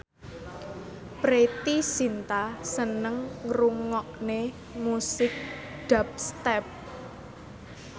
Preity Zinta seneng ngrungokne musik dubstep